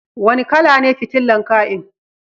Wani kala ne fitilan kai'n?